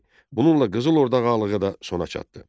Bununla Qızıl Orda ağalığı da sona çatdı.